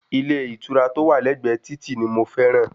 Ilé ìtura tó wà lẹ́gbẹ̀ẹ́ títì ni mo fẹ́ràn